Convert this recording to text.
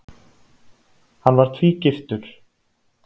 Hann var tvígiftur.